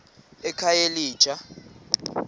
ekhayelitsha